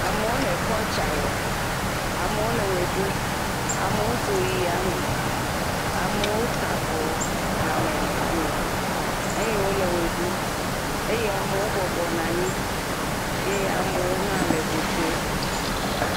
Amewo le kɔltsa wɔm eye wole wɔe ɖum, amewo dzo yi ya me, amewo ta avɔ hamehame eye wole wɔe ɖum eye amewo bɔbɔ nɔ anyi eye amewo hã le ŋu ƒom.